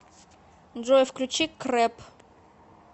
джой включи крэп